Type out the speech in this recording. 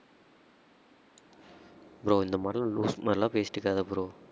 bro இந்த மாரி லூசு மாரிலாம் பேசிட்டிருக்காத bro